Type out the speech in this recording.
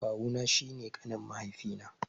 Kawu na shi ne ƙanin mahaifi na.